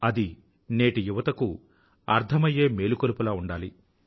అది నేటి యువతకు అర్థమయ్యే మేలుకొలుపులా ఉండాలి